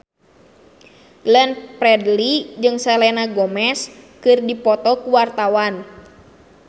Glenn Fredly jeung Selena Gomez keur dipoto ku wartawan